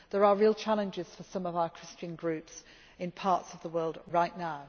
There are real challenges for some Christian groups in parts of the world right now.